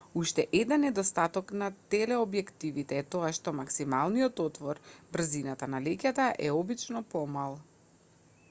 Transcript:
уште еден недостаток на телеобјективите e тоа што максималниот отвор брзината на леќата е обично помал